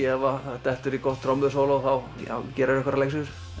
ef það dettur í gott trommusóló þá gerirðu